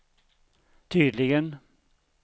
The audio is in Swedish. tydligen